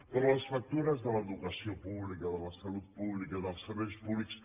però les factures de l’educació pública de la salut pública dels serveis públics